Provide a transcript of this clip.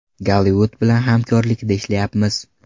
Gollivud bilan hamkorlikda ishlayapmiz.